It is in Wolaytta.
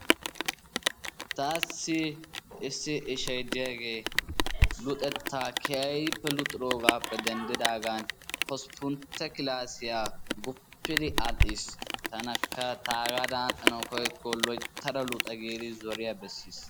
Taassi issi ishayi diyagee luxettaa keehippe luxiyogaappe denddidaagan hosppuntta kilaasiya guppidi aadhdhis. Tanakka taagaadan aadhdhanawu giikko loyttada luxa giidi zoriya bessis